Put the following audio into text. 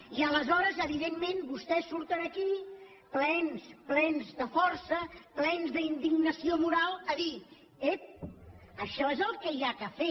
i aleshores evidentment vostès surten aquí plens plens de força plens d’indignació moral a dir ep això és el que cal fer